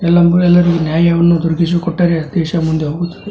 ಎಲ್ಲ ಊರೆಲ್ಲರೂ ನ್ಯಾಯವನ್ನು ಒದಗಿಸಿಕೊಟ್ಟರೆ ದೇಶ ಮುಂದೆ ಹೋಗುತ್ತದೆ.